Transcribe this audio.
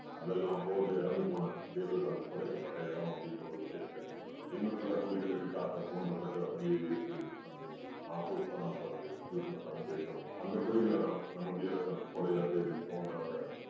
அதெல்லாம் போர்ல இறந்து போன வீரர்கள் புதைக்கப்பட்ட இடம் அப்படீங்கற ஒரு விஷயத்த தெரிஞ்சுக்குறான். இன்னும் சில குழிகள் எதுக்காக தோண்டப்பட்டு அப்படியே இருக்குது அப்படீன்னு மாஃபூஸ் கானை பாத்து யூசுஃப் கான் கேட்கவும் அந்த குழிகள தான் நம்ம வீரர்கள் புதையல தேடி தோண்டறாங்க